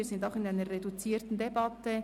Wir führen eine reduzierte Debatte.